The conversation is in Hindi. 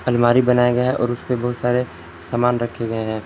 अलमारी बनाया गया है और उस पे बहुत सारे सामान रखे गए हैं।